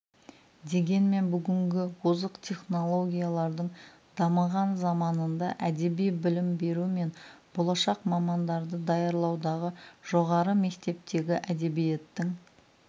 дегенмен бүгінгі озық технологиялардың дамыған заманында әдеби білім беру мен болашақ мамандарды даярлаудағы жоғары мектептегі әдебиеттің